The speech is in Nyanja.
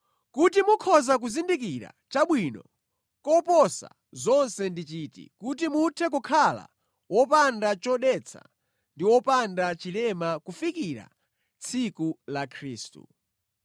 kuti mukhoza kuzindikira chabwino koposa zonse ndi chiti kuti muthe kukhala wopanda chodetsa ndi wopanda chilema kufikira tsiku la Khristu.